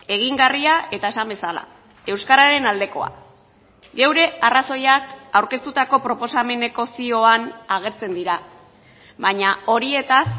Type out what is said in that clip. egingarria eta esan bezala euskararen aldekoa gure arrazoiak aurkeztutako proposameneko zioan agertzen dira baina horietaz